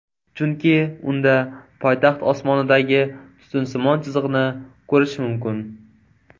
Chunki unda poytaxt osmonidagi tutunsimon chiziqni ko‘rish mumkin.